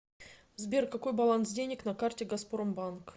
сбер какой баланс денег на карте газпромбанк